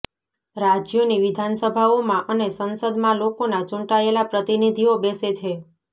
રાજ્યોની વિધાનસભાઓમાં અને સંસદમાં લોકોના ચૂંટાયેલા પ્રતિનિધિઓ બેસે છે